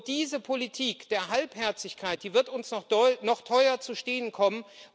Diese Politik der Halbherzigkeit, die wird uns noch teuer zu stehen kommen.